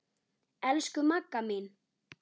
Elsku Magga mín.